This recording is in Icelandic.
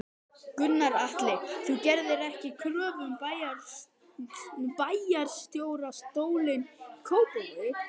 Gunnar Atli: Þú gerðir ekki kröfu um bæjarstjórastólinn í Kópavogi?